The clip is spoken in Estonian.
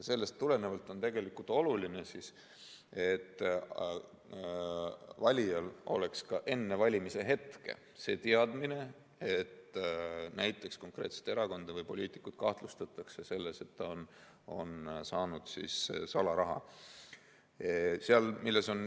Sellest tulenevalt on oluline, et valijal oleks ka enne valimisi see teadmine, et näiteks konkreetset erakonda või poliitikut kahtlustatakse salaraha saamises.